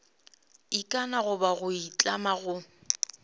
ikana goba go itlama go